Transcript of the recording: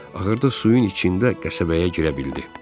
Axırda suyun içində qəsəbəyə girə bildi.